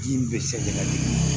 Ji in bɛ sɛgɛn ka di